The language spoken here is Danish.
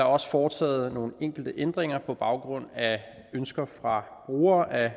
også foreslået nogle enkelte ændringer på baggrund af ønsker fra brugere af